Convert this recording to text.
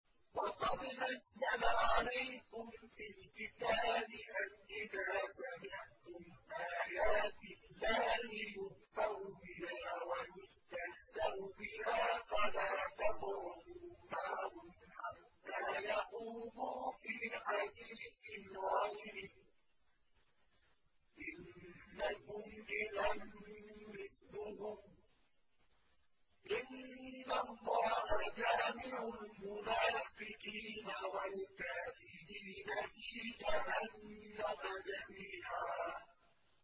وَقَدْ نَزَّلَ عَلَيْكُمْ فِي الْكِتَابِ أَنْ إِذَا سَمِعْتُمْ آيَاتِ اللَّهِ يُكْفَرُ بِهَا وَيُسْتَهْزَأُ بِهَا فَلَا تَقْعُدُوا مَعَهُمْ حَتَّىٰ يَخُوضُوا فِي حَدِيثٍ غَيْرِهِ ۚ إِنَّكُمْ إِذًا مِّثْلُهُمْ ۗ إِنَّ اللَّهَ جَامِعُ الْمُنَافِقِينَ وَالْكَافِرِينَ فِي جَهَنَّمَ جَمِيعًا